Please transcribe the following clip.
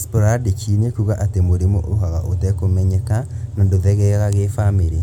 Sporadic nĩ kuga atĩ mũrimũ ũkaga ũtekũmenyeka na ndũthegeaga na gĩbamiri